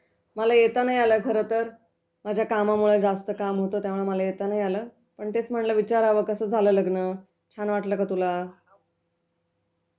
मला येत नाही आलं खरंतर, माझ्या कामामुळं, जास्त काम होतं त्यामुळे मला येता नाही आलं पण तेच म्हणलं विचारावं कसं झालं लग्न? छान वाटलं का तुला?